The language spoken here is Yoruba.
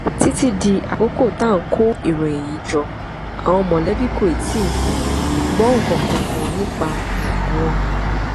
títí di àkókò tá à ń kó ìròyìn yìí jọ àwọn mọlẹbí kò tí ì um gbọ nǹkan kan nípa um wọn